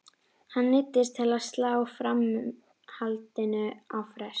Hann neyddist til að slá framhaldinu á frest.